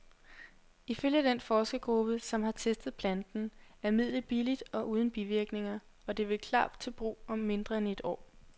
Ifølge den forskergruppe, som har testet planten, er midlet billigt og uden bivirkninger, og det vil klar til brug om mindre end et år.